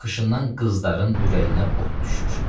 Baxışından qızların ürəyinə od düşür.